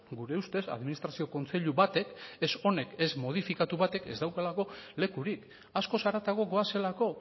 gure ustez administrazio kontseilu batek ez honek ez modifikatu batek ez daukalako lekurik askoz haratago goazelako